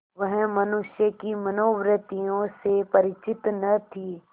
वह मनुष्य की मनोवृत्तियों से परिचित न थी